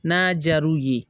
N'a diyara u ye